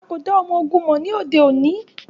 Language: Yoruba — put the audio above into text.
A ko da ọmọ-ogun mọ ni ode oni.